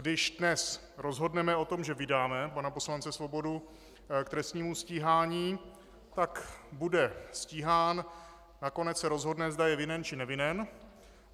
Když dnes rozhodneme o tom, že vydáme pana poslance Svobodu k trestnímu stíhání, tak bude stíhán, nakonec se rozhodne, zda je vinen, či nevinen.